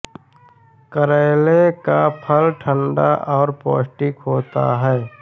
करेले का फल ठंडा और पौष्टिक होता है